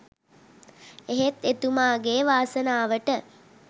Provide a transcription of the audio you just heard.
එහෙත් එතුමාගේ වාසනාවට